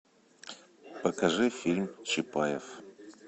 покажи фильм чапаев